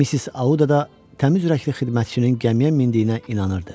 Missis Audada təmiz ürəkli xidmətçinin gəmiyə mindiyinə inanırdı.